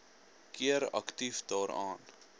keer aktief daaraan